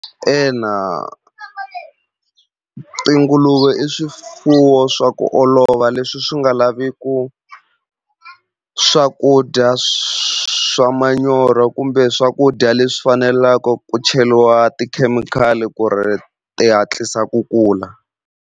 Ina tinguluve i swifuwo swa ku olova leswi swi nga laviku swakudya swa manyoro kumbe swakudya leswi fanelaka ku cheliwa tikhemikhali ku ri ti hatlisa ku kula.